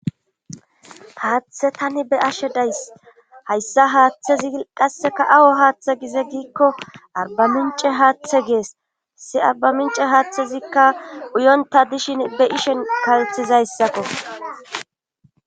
Haaththe tani be ashe days hayssa haaththezi qasseka awo haaththe gize giikko arba mince haaththe gees si arba mince haaththezikka uyonta dishin be ishen kalthizayssakko.